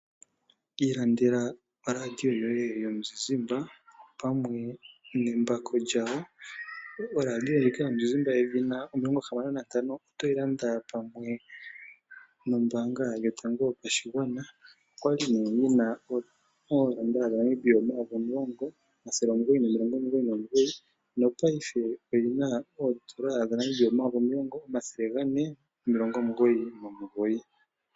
Ilandela oradio yoye yomuzizimba opamwe nembako lyawo. Oradio yedhina Hisense 65 oto yi landa pamwe nombaanga yotango yopashigwana, okwali yina N$10999, nopaife oyina N$10499.